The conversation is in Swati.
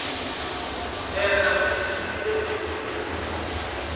enta kutsi sibenekudla